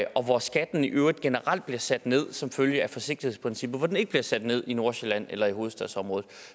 og hvor skatten i øvrigt generelt bliver sat ned som følge af forsigtighedsprincippet og hvor den ikke bliver sat ned i nordsjælland eller i hovedstadsområdet